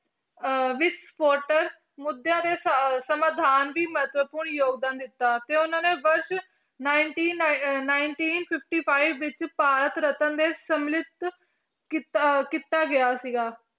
ਅਹ ਮੁੱਦਿਆਂ ਦੇ ਸ~ ਸਮਾਧਾਨ ਦੀ ਮਹੱਤਵਪੂਰਨ ਯੋਗਦਾਨ ਦਿੱਤਾ ਤੇ ਉਹਨਾਂ ਨੇ ਵਰਸ਼ nineteen ਨਾ~ nineteen fifty-five ਵਿੱਚ ਭਾਰਤ ਰਤਨ ਦੇ ਸਮਲਿਤ ਕੀਤਾ ਕੀਤਾ ਗਿਆ ਸੀਗਾ